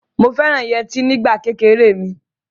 Mo fẹ́ràn yẹtí nígbà kékeré mi.